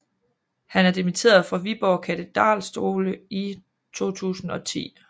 Han er dimitteret fra Viborg Katedralskole i 2010